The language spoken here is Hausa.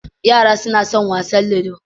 Yara suna son wasan ludo